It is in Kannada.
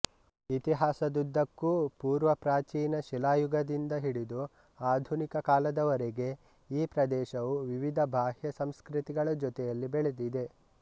ಇತಿಹಾಸದುದ್ದಕ್ಕೂ ಪೂರ್ವ ಪ್ರಾಚೀನ ಶಿಲಾಯುಗದಿಂದ ಹಿಡಿದು ಆಧುನಿಕ ಕಾಲದವರೆಗೆ ಈ ಪ್ರದೇಶವು ವಿವಿಧ ಬಾಹ್ಯ ಸಂಸ್ಕೃತಿಗಳ ಜತೆಯಲ್ಲಿ ಬೆಳೆದಿದೆ